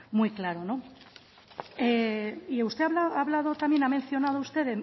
muy claro no y usted ha hablado también ha mencionado usted